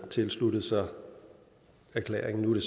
tilsluttet sig erklæringen nu er